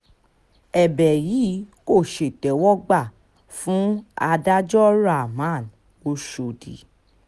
ẹ̀bẹ̀ yìí kò ṣètẹ́wọ́gbà fún adájọ́ rahman oshọ́dì